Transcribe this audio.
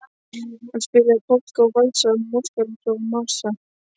Hann spilaði polka og valsa, masúrka og marsa.